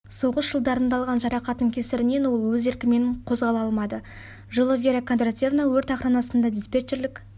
соғыс жылдарында алған жарақатының кесірінен ол өз еркімен қозғала алмады жылы вера кондратьевна өрт охранасында диспетчерлік